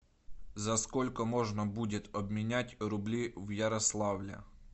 за сколько можно будет обменять рубли в ярославле